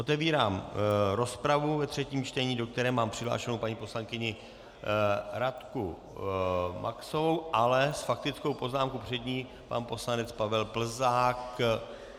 Otevírám rozpravu ve třetím čtení, do které mám přihlášenu paní poslankyni Radku Maxovou, ale s faktickou poznámkou před ní pan poslanec Pavel Plzák.